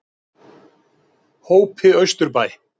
Hópi Austurbæ